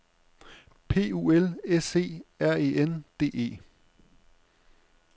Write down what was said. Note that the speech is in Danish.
P U L S E R E N D E